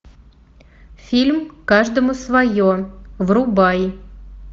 фильм каждому свое врубай